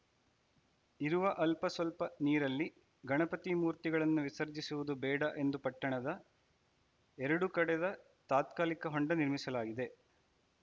ಇರುವ ಅಲ್ಪ ಸ್ವಲ್ಪ ನೀರಲ್ಲಿ ಗಣಪತಿ ಮೂರ್ತಿಗಳನ್ನು ವಿಸರ್ಜಿಸುವುದು ಬೇಡ ಎಂದು ಪಟ್ಟಣದ ಎರಡು ಕಡೆದ ತಾತ್ಕಾಲಿಕ ಹೊಂಡ ನಿರ್ಮಿಸಲಾಗಿದೆ